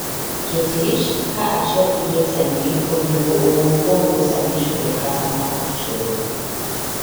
Jotich kaachiel gi jotendgi onego owuo kuom rusa michulo kata maok chul.